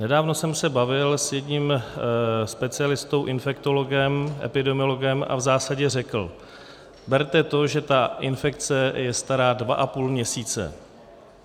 Nedávno jsem se bavil s jedním specialistou, infektologem, epidemiologem, a v zásadě řekl: Berte to, že ta infekce je stará dva a půl měsíce.